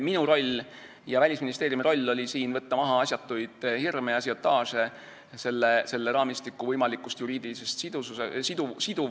Minu ja Välisministeeriumi roll oli võtta maha asjatuid hirme ja ažiotaaže selle raamistiku võimaliku juriidilise siduvuse pärast.